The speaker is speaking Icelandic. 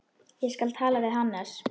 Ég skal tala við Hannes.